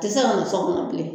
Tɛ se mu so kɔnɔ bilen